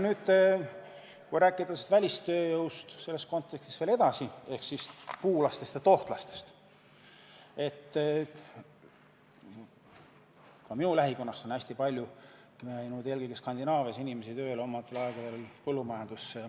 Nüüd, kui rääkida selles kontekstis veel välistööjõust ehk puulastest ja tohtlastest, siis ka minu lähikonnast on omal ajal hästi palju inimesi läinud eelkõige Skandinaavia põllumajandusse tööle.